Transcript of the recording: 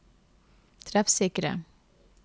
treffsikre